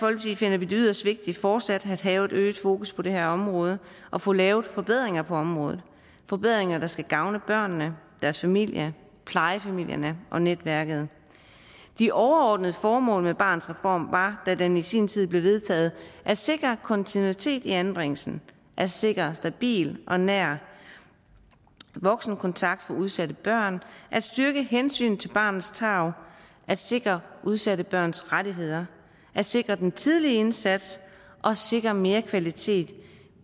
finder vi det yderst vigtigt fortsat at have et øget fokus på det her område og få lavet forbedringer på området forbedringer der skal gavne børnene deres familie plejefamilierne og netværket de overordnede formål med barnets reform var da den i sin tid blev vedtaget at sikre kontinuitet i anbringelsen at sikre en stabil og nær voksenkontakt for udsatte børn at styrke hensynet til barnets tarv at sikre udsatte børns rettigheder at sikre den tidlige indsats og sikre mere kvalitet